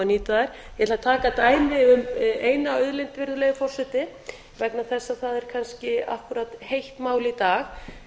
nýta þær ég ætla að taka dæmi um eina auðlind virðulegi forseti vegna þess að það er kannski akkúrat heitt mál í dag